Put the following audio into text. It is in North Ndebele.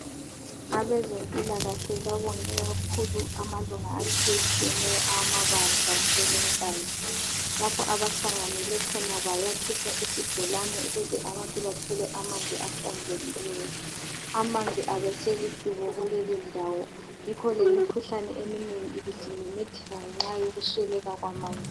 Abezempilakahle babonge kakhulu amalunga atshiyetshiyeneyo awamabandla kweleNkayi, lapho abahlanganele khona bayakhisa isibholane ukuze abantu bathole amanzi ahlanzekileyo. Amanzi abeselidubo kulelindawo, yikho lemikhuhlane eminengi ibisimemetheka ngenxa yokusweleka kwamanzi.